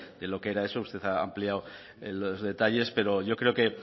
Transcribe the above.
de lo que era eso usted ha ampliado los detalles pero yo creo que